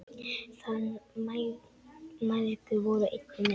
Þær mæðgur voru einnig með.